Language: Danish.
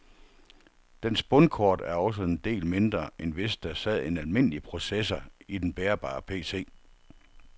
Dens bundkort er også en del mindre, end hvis der sad en almindelig processor i den bærbare PC.